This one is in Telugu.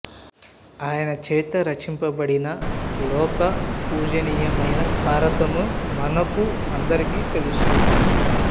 ఆయన చేత రచింపబడిన లోక పూజనీయమైన భారతము మనకు అందరికి తెలుసు